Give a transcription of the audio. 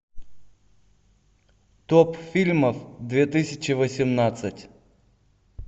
топ фильмов две тысячи восемнадцать